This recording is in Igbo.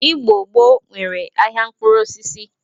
Igbo gboo nwere ahịa mkpụrụosisi.